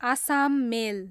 Assam मेल